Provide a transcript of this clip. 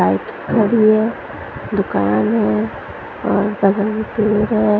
Bike खड़ी है दुकान है और बगल में पेड़ है।